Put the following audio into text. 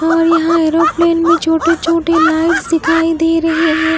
और यहां ऐरोप्लेन में छोटे छोटे लाइट्स दिखाई दे रहे है।